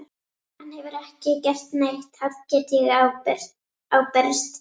Hann hefur ekki gert neitt, það get ég ábyrgst.